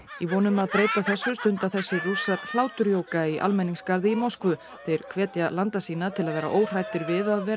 í von um að breyta þessu stunda þessir Rússar í almenningsgarði í Moskvu þeir hvetja landa sína til að vera óhræddir við að vera